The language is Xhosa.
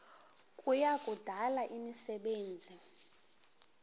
kuya kudala imisebenzi